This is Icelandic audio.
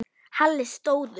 Halli stóð upp.